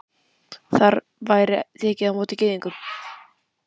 Þar væri tekið á móti Gyðingum.